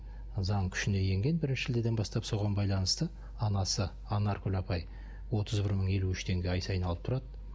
заң күшіне енген бірінші шілдеден бастап соған байланысты анасы анаркүл апай отыз бір мың елу үш теңге ай сайын алып тұрады